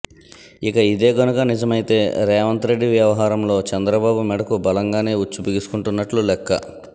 ఇక ఇదే గనుక నిజమైతే రేవంత్ రెడ్డి వ్యవహారంలో చంద్రబాబు మెడకు బలంగానే ఉచ్చు బిగుసుకుంటున్నట్లు లెక్క